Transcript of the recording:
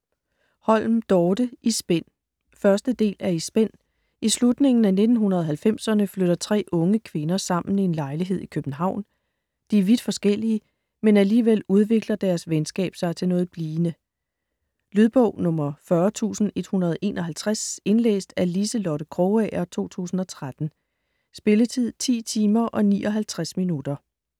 Holm, Dorte: I spænd 1. del af I spænd. I slutningen af 1990'erne flytter tre unge kvinder sammen i en lejlighed i København. De er vidt forskellige, men alligevel udvikler deres venskab sig til noget blivende. Lydbog 40151 Indlæst af Liselotte Krogager, 2013. Spilletid: 10 timer, 59 minutter.